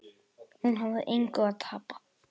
Hún hafði engu að tapa.